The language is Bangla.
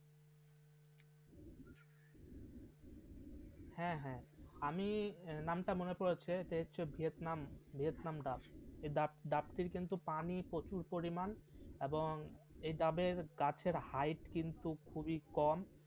হ্যাঁ হ্যাঁ আমি নামটা মনে পড়েছে সে হচ্ছে ভিয়েতনাম ভিয়েতনাম দাস এই যাত্রী কিন্তু পানি প্রচুর পরিমাণ এবং এই ডাবের গাছের হাইট কিন্তু খুবই কম